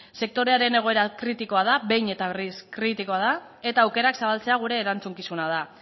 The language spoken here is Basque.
sektorearen egoera kritikoa da behin eta berriz kritikoa da eta aukerak zabaltzea gure erantzukizuna da